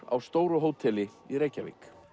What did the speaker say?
á stóru hóteli í Reykjavík